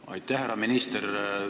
Aitäh, härra minister!